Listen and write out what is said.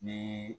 Ni